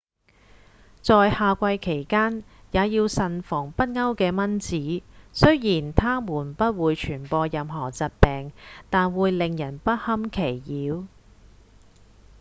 在夏季期間也要慎防北歐的蚊子雖然它們不會傳播任何疾病但會令人不堪其擾